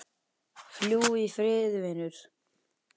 Fljúgðu í friði vinur.